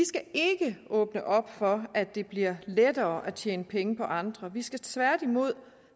ikke åbne op for at det bliver lettere at tjene penge på andre vi skal tværtimod